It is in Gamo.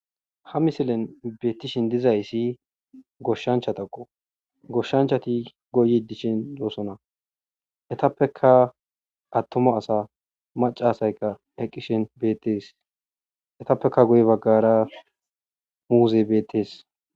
Ha misilen beettishin dizayssi goshshanchatakqo goshshanchati goyi dishin yoosona etappeka attoma asa macaasayka eqqishen beettees etappeka goye baggara muuzey beettees.